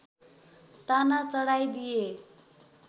ताना चढाइदिए